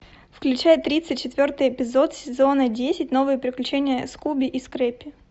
включай тридцать четвертый эпизод сезона десять новые приключения скуби и скрэппи